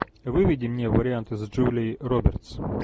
выведи мне варианты с джулией робертс